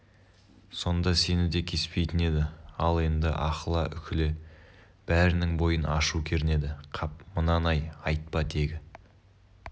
сонда сені де кеспейтін еді ал енді аһыла-үһіле бәрінің бойын ашу кернеді қап мынаны-ай айтпа тегі